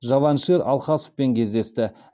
джаваншир алхасовпен кездесті